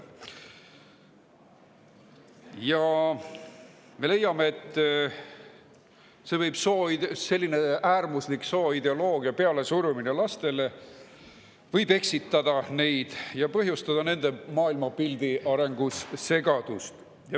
Me leiame, et sellise äärmusliku sooideoloogia lastele pealesurumine võib neid eksitada ja põhjustada nende maailmapildi arengus segadust.